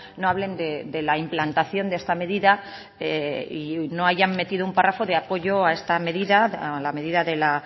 no hablen de la implantación de esta medida y no hayan metido un párrafo de apoyo a esta medida a la medida de la